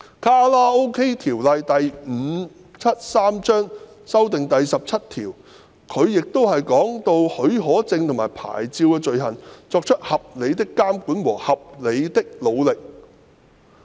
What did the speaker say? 《卡拉 OK 場所條例》第17條的修訂中文文本是"作出合理的監管及合理的努力"。